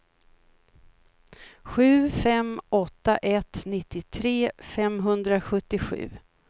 sju fem åtta ett nittiotre femhundrasjuttiosju